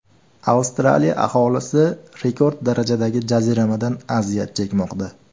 Avstraliya aholisi rekord darajadagi jaziramadan aziyat chekmoqda.